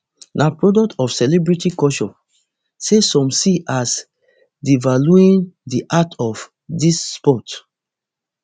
na product of celebrity culture say some see as devaluing di art of dis sport